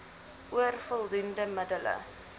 oor voldoende middele